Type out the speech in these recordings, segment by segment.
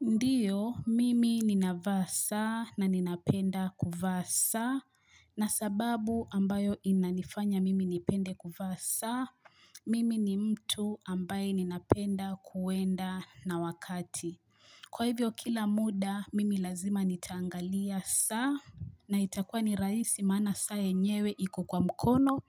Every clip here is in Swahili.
Ndiyo, mimi ninavaa saa na ninapenda kuvaa saa, na sababu ambayo inanifanya mimi nipende kuvaa saa, mimi ni mtu ambaye ninapenda kuenda na wakati. Kwa hivyo kila muda, mimi lazima nitaangalia saa, na itakua ni rahisi maana saa yenyewe iko kwa mkono.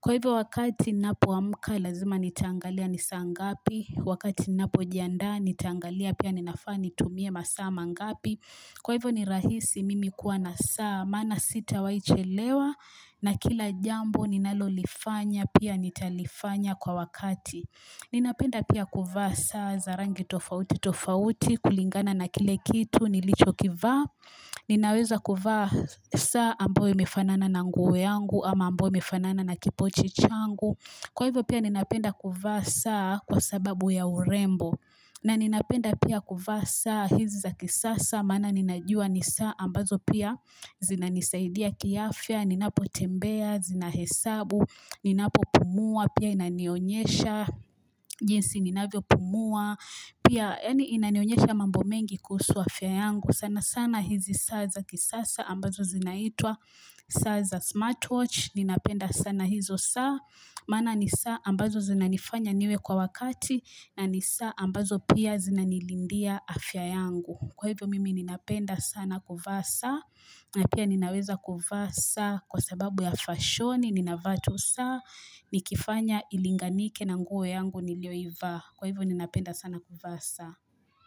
Kwa hivyo wakati napoamka lazima nitaangalia ni saa ngapi Wakati napojiandaa nitaangalia pia ninafaa nitumie masaa mangapi Kwa hivyo ni rahisi mimi kuwa na saa Maana sitawai chelewa na kila jambo ninalolifanya pia nitalifanya kwa wakati Ninapenda pia kuvaa saa za rangi tofauti tofauti kulingana na kile kitu nilichokivaa Ninaweza kuvaa saa ambao imefanana na nguo yangu ama ambao imefanana na kipochi changu Kwa hivyo pia ninapenda kuvaa saa kwa sababu ya urembo na ninapenda pia kuvaa saa hizi za kisasa Maana ninajua ni saa ambazo pia zinanisaidia kiafya Ninapotembea, zinahesabu, ninapopumua Pia inanionyesha, jinsi ninavyopumua Pia yaani inanionyesha mambo mengi kuhusu afya yangu sana sana hizi saa za kisasa ambazo zinaitwa saa za smartwatch. Ninapenda sana hizo saa. Maana ni saa ambazo zinanifanya niwe kwa wakati. Na ni saa ambazo pia zinanilindia afya yangu. Kwa hivyo mimi ninapenda sana kuvaa saa. Na pia ninaweza kuvaa saa. Kwa sababu ya fashoni ninavaa tu saa. Nikifanya ilinganike na nguo yangu nilioivaa. Kwa hivyo ninapenda sana kuvaa saa.